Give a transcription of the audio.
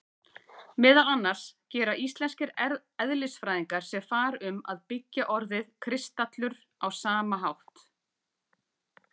Meðal annars gera íslenskir eðlisfræðingar sér far um að beygja orðið kristallur á sama hátt.